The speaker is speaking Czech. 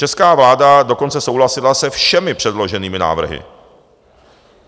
Česká vláda dokonce souhlasila se všemi předloženými návrhy.